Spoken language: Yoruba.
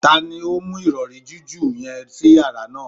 Tani o mu irọri jiju yẹn si yara naa?